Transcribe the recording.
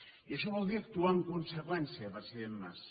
i això vol dir actuar en conseqüència president mas